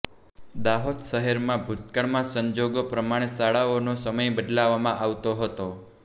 દાહોદ શહેરમાં ભુતકાળમાં સંજોગો પ્રમાણે શાળાઓનો સમય બદલવામાં આવતો હતો